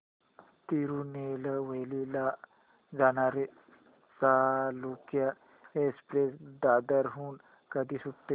तिरूनेलवेली ला जाणारी चालुक्य एक्सप्रेस दादर हून कधी सुटते